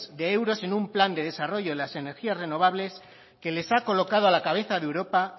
de euros en un plan de desarrollo en las energías renovables que les ha colocado a la cabeza de europa